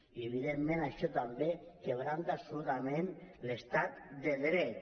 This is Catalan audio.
i evidentment això també trenca absolutament l’estat de dret